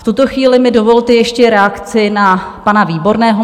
V tuto chvíli mi dovolte ještě reakci na pana Výborného.